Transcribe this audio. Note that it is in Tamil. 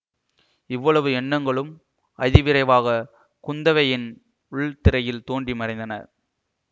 இவ்வளவு எண்ணங்களும் அதி விரைவாக குந்தவையின் உள்த்திரையில் தோன்றி மறைந்தன